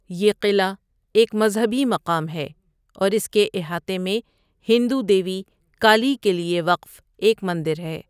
یہ قلعہ ایک مذہبی مقام ہے، اور اس کے احاطے میں ہندو دیوی کالی کے لیے وقف ایک مندر ہے۔